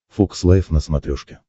фокс лайф на смотрешке